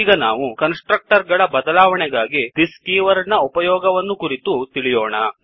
ಈಗ ನಾವು constructor ಗಳ ಬದಲಾವಣೆಗಾಗಿ thisದಿಸ್ ಕೀವರ್ಡ್ ನ ಉಪಯೋಗವನ್ನು ಕುರಿತು ತಿಳಿಯೋಣ